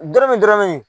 Don min dɔrɔn ne